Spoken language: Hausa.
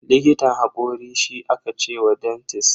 Likitan hakori shi aka ce wa dentist.